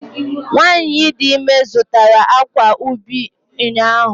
Nwanyị dị ime zụtara akwa ubi ụnyahụ